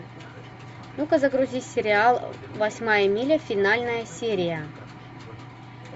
ну ка загрузи сериал восьмая миля финальная серия